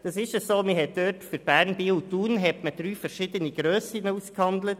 Für Bern, Biel und Thun wurden in der Tat drei verschieden Grössen ausgehandelt.